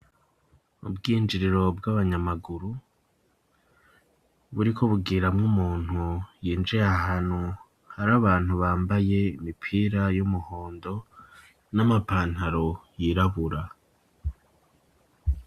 Ubwinjiriro bw'abanyamaguru. Buriko bugiramwo umuntu yinjiye ahantu hari abantu bambaye imipira y'umuhondo n'amapantaro yirabura.